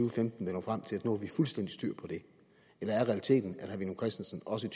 og femten vil nå frem til at nu har fuldstændig styr på det eller er realiteten at herre villum christensen også